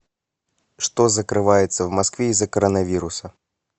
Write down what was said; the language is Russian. что закрывается в москве из за коронавируса